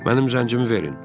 Mənim zəncimi verin.